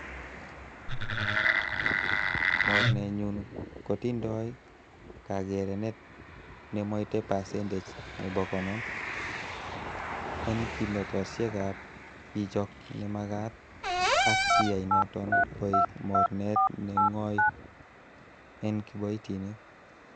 Mornenyun kotindoi kakerenet nemoite pasentech nebo konoom, en kimnotoosiekab chichok nemagat, ak kiyai noton koik mornet ne ng'oi en kiboitinik.